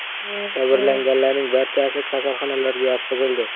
Jabrlanganlarning barchasi kasalxonalarga yotqizildi.